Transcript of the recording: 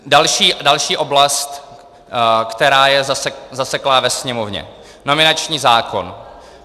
Další oblast, která je zaseklá ve Sněmovně: nominační zákon.